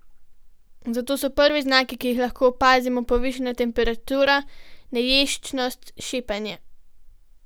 Zato so prvi znaki, ki jih lahko opazimo, povišana temperatura, neješčnost, šepanje.